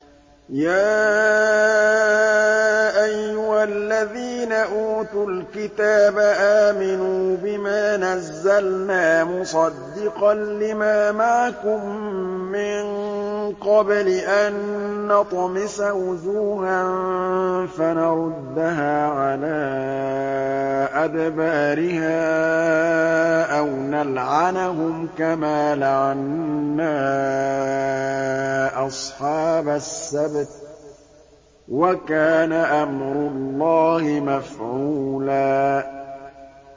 يَا أَيُّهَا الَّذِينَ أُوتُوا الْكِتَابَ آمِنُوا بِمَا نَزَّلْنَا مُصَدِّقًا لِّمَا مَعَكُم مِّن قَبْلِ أَن نَّطْمِسَ وُجُوهًا فَنَرُدَّهَا عَلَىٰ أَدْبَارِهَا أَوْ نَلْعَنَهُمْ كَمَا لَعَنَّا أَصْحَابَ السَّبْتِ ۚ وَكَانَ أَمْرُ اللَّهِ مَفْعُولًا